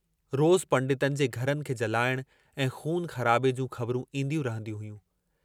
रोज़ पंडितनि जे घरनि खे जलाइण ऐं ख़ून ख़राबे जूं ख़बरूं ईन्दियूं रहंदियूं हुयूं।